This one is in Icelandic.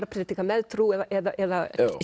að predika með trú eða